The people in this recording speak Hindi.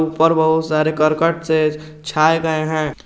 ऊपर बहुत सारे करकट से छाए गए हैं।